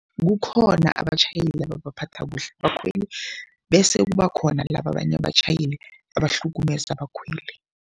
Kukhona abatjhayeli ababaphatha kuhle abakhweli bese kubakhona laba abanye abatjhayeli abahlukumeza abakhweli.